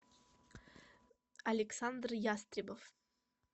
александр ястребов